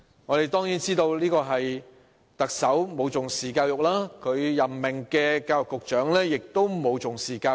我們當然知道，這是因為特首和他任命的教育局局長均沒有重視教育。